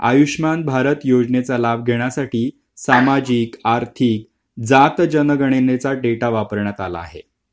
आयुष्यमान भारत योजनेचे लाभ देण्यासाठी सामाजिक आर्थिक जात जनगणनेचा डेटा वापरण्यात आला आहे